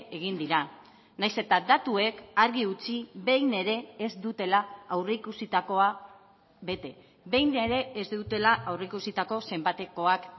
egin dira nahiz eta datuek argi utzi behin ere ez dutela aurreikusitakoa bete behin ere ez dutela aurreikusitako zenbatekoak